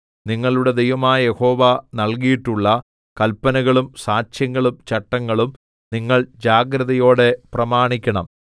നിങ്ങളുടെ ദൈവമായ യഹോവ നൽകിയിട്ടുള്ള കല്പനകളും സാക്ഷ്യങ്ങളും ചട്ടങ്ങളും നിങ്ങൾ ജാഗ്രതയോടെ പ്രമാണിക്കണം